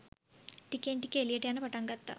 ටිකෙන් ටික එළියට යන්න පටන් ගත්තා.